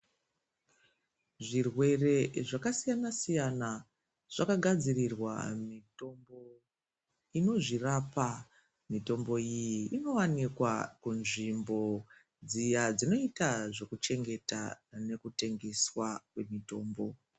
Zvirwere zvakasiyana siyana zvakagadzirwa mitombo inozvirapa mitombo iyi inowanikwa munzvimbo dziya dzinoita zveku tengeswa mutombo.